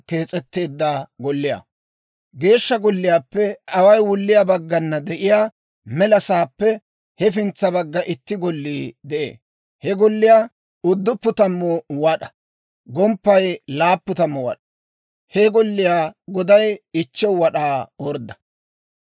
Geeshsha Golliyaappe away wulliyaa baggana de'iyaa mela sa'aappe hefintsa baggana itti Gollii de'ee. He golliyaa 90 wad'aa; gomppaykka 70 wad'aa. He golliyaa goday 5 wad'aa ordda.